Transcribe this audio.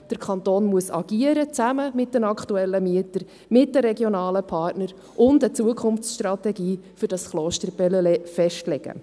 Der Kanton muss agieren, zusammen mit den aktuellen Mietern, mit den regionalen Partnern, und eine Zukunftsstrategie für das Koster Bellelay festlegen.